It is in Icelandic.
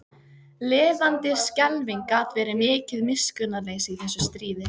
Lifandis skelfing gat verið mikið miskunnarleysi í þessu stríði.